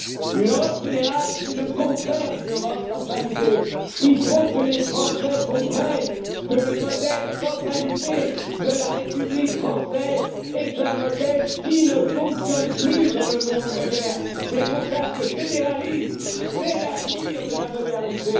fédérale. Une Europe fédérale, c'est le contraire d'une Europe centralisée, il faut que les Français comprennent que le modèle centralisé de la République française est un modèle qui ne fonctionne plus dans le monde moderne! C'est pour cela que le fédéralisme, c'est l'avenir de